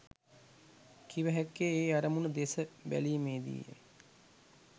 කිව හැක්කේ ඒ අරමුණු දෙස බැලීමේදීය.